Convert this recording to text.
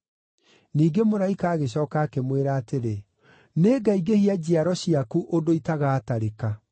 Ningĩ mũraika agĩcooka akĩmwĩra atĩrĩ, “Nĩngaingĩhia njiaro ciaku ũndũ itagaatarĩka.”